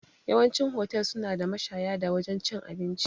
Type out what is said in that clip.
Yawancin hotel suna da mashaya da wajan cin abinci